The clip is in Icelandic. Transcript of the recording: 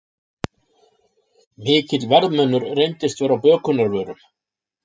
Mikill verðmunur reyndist vera á bökunarvörum